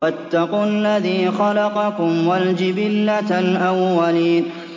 وَاتَّقُوا الَّذِي خَلَقَكُمْ وَالْجِبِلَّةَ الْأَوَّلِينَ